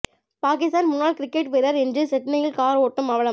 பாகிஸ்தான் முன்னாள் கிரிக்கெட் வீரர் இன்று சிட்னியில் கார் ஓட்டும் அவலம்